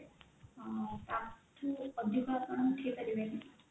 ଆଁ ତାଠୁ ଅଧିକ ଆପଣ ଉଠେଇପାରିବେନି